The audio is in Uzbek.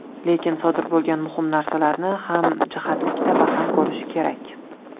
Lekin sodir bo‘lgan muhim narsalarni hamjihatlikda baham ko‘rish kerak.